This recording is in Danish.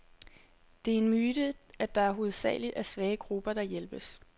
Det er en myte, at det hovedsageligt er svage grupper, der hjælpes.